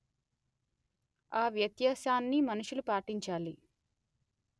ఆ వ్యత్యాసాన్ని మనుషులు పాటించాలి